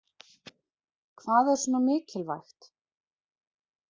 Hvað er svona mikilvægt